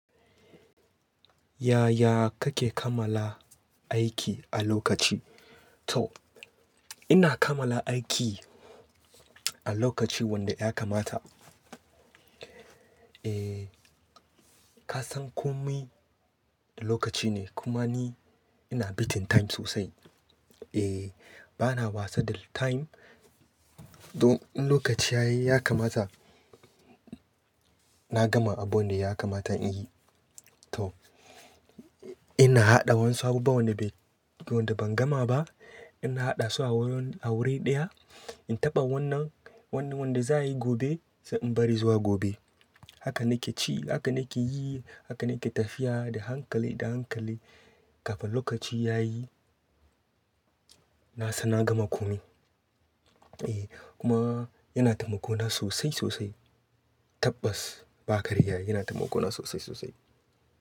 Yaya kake kamalla aiki a lokaci? To ina kamala aiki a lokaci wanda ya kamata. Eh, ka san komai lokacine. Kuma ni ina beating time sosai. Eh, bana wasa da time. Don in lokaci yayi ya kamata na gama abunda ya kamata inyi. To ina haɗa wasu abubuwa wanda ban gamaba. Ina haɗasu a wuri ɗaya, in taɓa wannan wanda za'ayi gobe, sai in bari zuwa gobe. Haka nakeci, haka nake yi, haka nake tafiya da hankali, da hankali kafin lokaci yayi. Nasan na gama komai. Eh, kuma yana taimako na sosai, sosai. Tabbas ba karya, yana taimako na sosai, sosai.